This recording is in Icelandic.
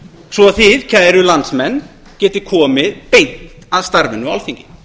svo að þið kæru landsmenn getið komið beint að starfinu á alþingi